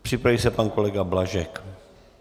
Připraví se pan kolega Blažek.